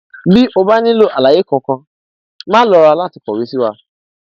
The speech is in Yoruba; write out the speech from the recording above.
bí o bá nílò àlàyé kankan máà lọra láti kọwé sí wa